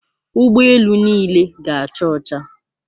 Ụgbọ elu niile ga-acha ọcha.